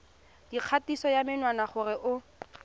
dikgatiso ya menwana gore o